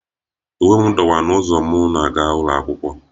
Uwe m dọwaa n'ụzọ m na-aga ụlọ akwụkwọ